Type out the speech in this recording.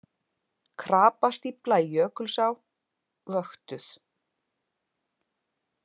Krapastífla í Jökulsá vöktuð